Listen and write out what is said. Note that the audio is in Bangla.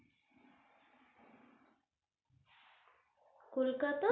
কলকাতা,